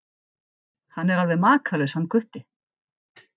Hann er alveg makalaus hann Gutti.